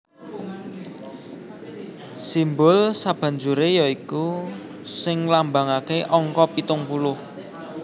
Simbul sabanjuré ya iku sing nglambangaké angka pitung puluh